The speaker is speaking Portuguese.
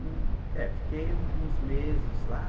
É fiquei uns uns meses lá.